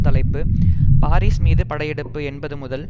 தலைப்பு பாரீஸ் மீது படையெடுப்பு என்பது முதல்